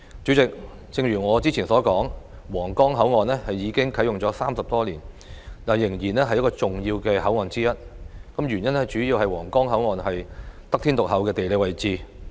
主席，正如我早前所說，皇崗口岸啟用至今已30多年，但仍然是最重要的口岸之一，原因主要是皇崗口岸得天獨厚的地理位置。